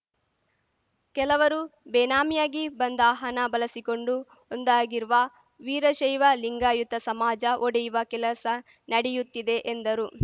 ಕೆಲವರು ಬೇನಾಮಿಯಾಗಿ ಬಂದ ಹನ ಬಳಸಿಕೊಂಡು ಒಂದಾಗಿರುವ ವೀರಶೈವಲಿಂಗಾಯುತ ಸಮಾಜ ಒಡೆಯುವ ಕೆಲಸ ನಡೆಯುತ್ತಿದೆ ಎಂದರು